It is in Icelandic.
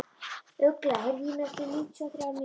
Ugla, heyrðu í mér eftir níutíu og þrjár mínútur.